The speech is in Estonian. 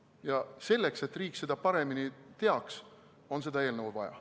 Ja selleks, et riik seda paremini teaks, on seda eelnõu vaja.